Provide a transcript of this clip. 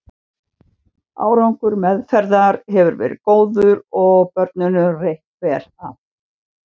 Árangur meðferðar hefur verið góður og börnunum reitt vel af.